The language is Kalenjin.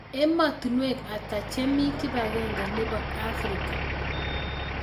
Ematinwek ata chemi kipagenge nebo africa